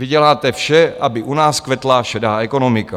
Vy děláte vše, aby u nás kvetla šedá ekonomika.